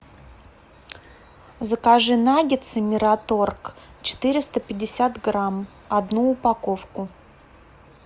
закажи наггетсы мираторг четыреста пятьдесят грамм одну упаковку